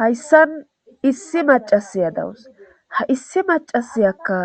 hayssan issi macasiya dawus ha issi macasiyakka